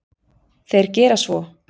Þeir gera svo.